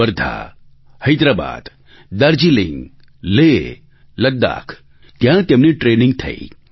વર્ધા હૈદરાબાદ દાર્જિલિંગ લેહ લદ્દાખ ત્યાં તેમની ટ્રેનિંગ થઈ